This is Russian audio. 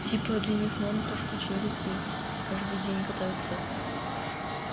типа для них норм то что челики каждый день катаются